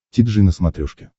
ти джи на смотрешке